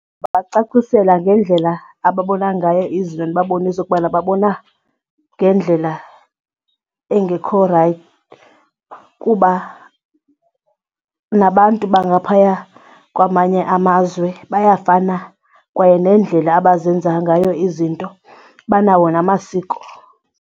Ndingabacacisela ngendlela ababona ngayo izinto ndibabonise ukubana babona ngendlela engekho rayithi kuba nabantu bangaphaya kwamanye amazwe bayafana kwaye nendlela abazenzayo ngayo izinto banawo namasiko.